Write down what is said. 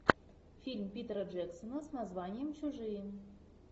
фильм питера джексона с названием чужие